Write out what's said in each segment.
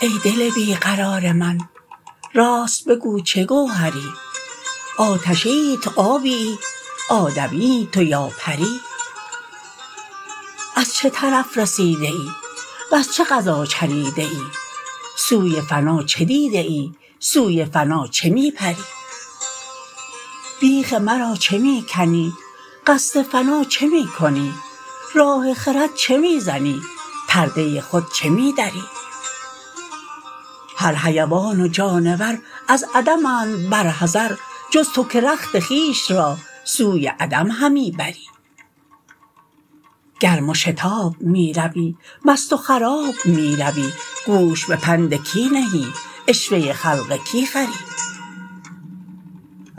ای دل بی قرار من راست بگو چه گوهری آتشیی تو آبیی آدمیی تو یا پری از چه طرف رسیده ای وز چه غذا چریده ای سوی فنا چه دیده ای سوی فنا چه می پری بیخ مرا چه می کنی قصد فنا چه می کنی راه خرد چه می زنی پرده خود چه می دری هر حیوان و جانور از عدمند بر حذر جز تو که رخت خویش را سوی عدم همی بری گرم و شتاب می روی مست و خراب می روی گوش به پند کی نهی عشوه خلق کی خوری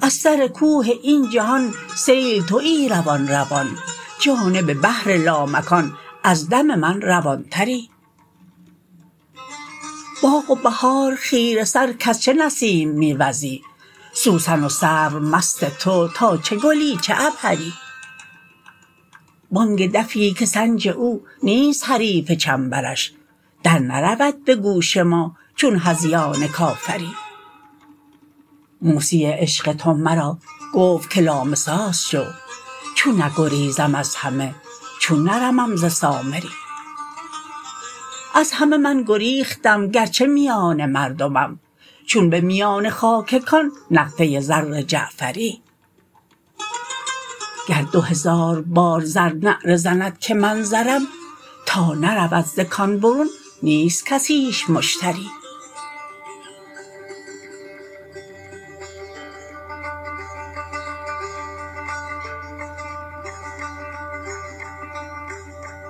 از سر کوه این جهان سیل توی روان روان جانب بحر لامکان از دم من روانتری باغ و بهار خیره سر کز چه نسیم می وزی سوسن و سرو مست تو تا چه گلی چه عبهری بانک دفی که صنج او نیست حریف چنبرش درنرود به گوش ما چون هذیان کافری موسی عشق تو مرا گفت که لامساس شو چون نگریزم از همه چون نرمم ز سامری از همه من گریختم گرچه میان مردمم چون به میان خاک کان نقده زر جعفری گر دو هزار بار زر نعره زند که من زرم تا نرود ز کان برون نیست کسیش مشتری